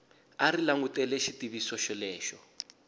a ri langutele xitiviso xolexo